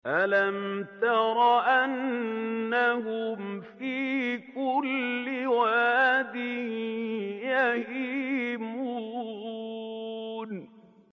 أَلَمْ تَرَ أَنَّهُمْ فِي كُلِّ وَادٍ يَهِيمُونَ